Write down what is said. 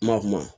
Ma kuma